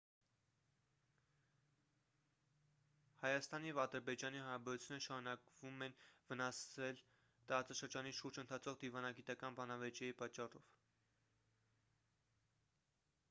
հայաստանի և ադրբեջանի հարաբերությունները շարունակվում են վնասվել տարածաշրջանի շուրջ ընթացող դիվանագիտական բանավեճերի պատճառով